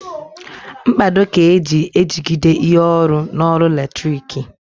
Mkpado ka eji ejigide ihe ọrụ n'ọrụ latriki